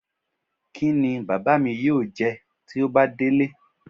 Kí ni bàbá mi yóò jẹ tí ó bá délé?